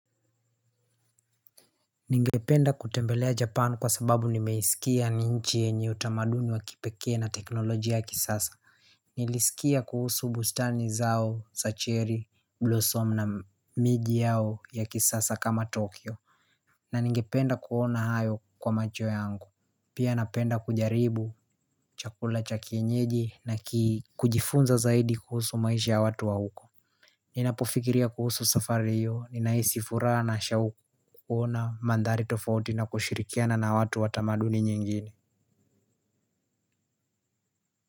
Ningependa kutembelea Japan kwa sababu nimeisikia ni nchi yenye utamaduni wa kipekee na teknolojia ya kisasa. Nilisikia kuhusu bustani zao, sacheri, blossom na miji yao ya kisasa kama Tokyo. Na ningependa kuona hayo kwa macho yangu. Pia napenda kujaribu chakula cha kienyeji na kujifunza zaidi kuhusu maisha ya watu wa huko. Ninapofikiria kuhusu safari hiyo, ninahisi furaha na shauku kuona mandhari tofauti na kushirikiana na watu wa tamaduni nyingine.